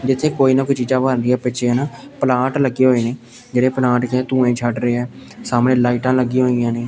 ਜਿੱਥੇ ਕੋਈ ਨਾ ਕੋਈ ਚੀਜ਼ਾਂ ਬਣਦੀਆਂ ਪਿੱਛੇ ਨਾ ਪਲਾਂਟ ਲੱਗੇ ਹੋਏ ਨੇ ਜਿਹੜੇ ਪਲਾਂਟ ਜੇਹੇ ਧੂਏਂ ਛੱਡ ਰਹੇ ਐ ਸਾਹਮਨੇ ਲਾਈਟਾਂ ਲੱਗਿਆ ਹੋਈਆਂ ਨੇ।